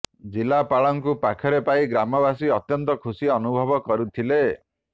ଜିଲ୍ଲାପାଳଙ୍କୁ ପାଖରେ ପାଇ ଗ୍ରାମବାସୀ ଅତ୍ୟନ୍ତ ଖୁସି ଅନୁଭବ କରିଥିଲେ